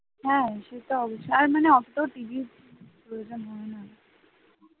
হ্যাঁ সে তা অবশ্যই আর মানে অত TV প্রয়োজন হয় না